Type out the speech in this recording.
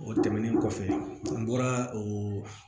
O tɛmɛnen kɔfɛ an bɔra o